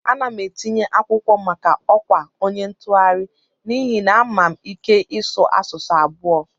Ana m etinye akwụkwọ maka ọkwa onye ntụgharị n'ihi na ama m ike ịsụ asụsụ abụo